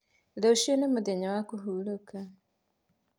Rũciũ nĩ mũthenya wa kũhurũka.